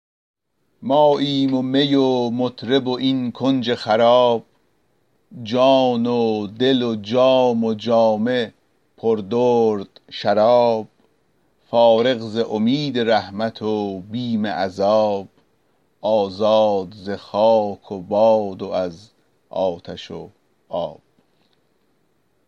ماییم و می و مطرب و این کنج خراب جان و دل و جام و جامه پر درد شراب فارغ ز امید رحمت و بیم عذاب آزاد ز خاک و باد و از آتش و آب